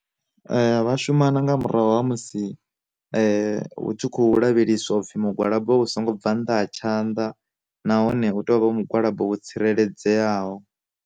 Vha shuma na nga murahu ha musi, hu tshi khou lavheleswa upfi mugwalabo wa vha u songo bva nnḓa ha tshanḓa, nahone u tea u vha hone mugwalabo wo tsireledzeaho.